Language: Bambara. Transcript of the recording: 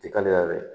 Ti kalaya yɛrɛ